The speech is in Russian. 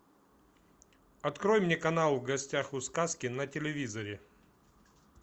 открой мне канал в гостях у сказки на телевизоре